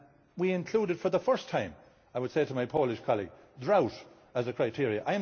We included for the first time, I would say to my Polish colleague, drought as a criteria.